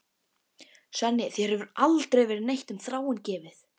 Svenni, þér hefur aldrei verið neitt um Þráin gefið.